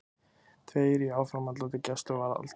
Tveir í áframhaldandi gæsluvarðhald